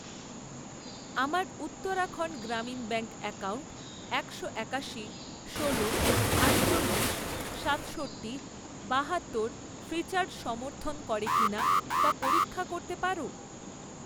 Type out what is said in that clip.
আমার Uttarakhand Gramin bank account একশো একাশি, ষোলো, আটচল্লিশ, সাতষট্টি, বাহাত্তর ফ্রিচার্জ সমর্থন করে কিনা তা পরীক্ষা করতে পারো?